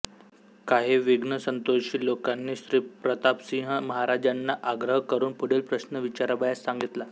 काही विघ्नसंतोषी लोकांनी श्रीप्रतापसिंह महाराजांना आग्रह करून पुढील प्रश्न विचारावयास सांगितला